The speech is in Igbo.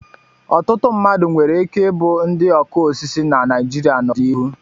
Ọtụtụ mmadụ nwere ike ịbụ ndị ọkụ osisi na Naịjirịa n'ọdịnihu.